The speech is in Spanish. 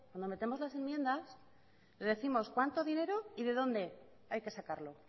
cuando metemos las enmiendas les décimos cuánto dinero y de dónde hay que sacarlo